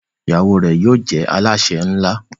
ìyàwó rẹ yóò jé Alásè nla